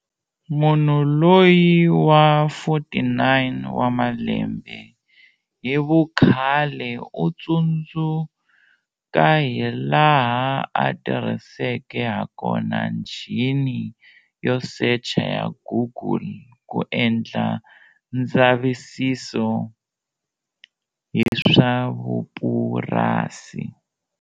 Munhu loyi wa 49 wa malembe hi vukhale u tsundzuka hilaha a tirhiseke hakona njhini yo secha ya Google ku endla ndzavisiso hi swa vupurasi.